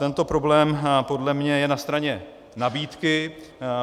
Tento problém podle mě je na straně nabídky.